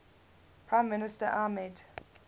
prime minister ahmed